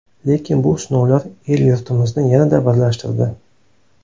Lekin bu sinovlar el-yurtimizni yanada birlashtirdi.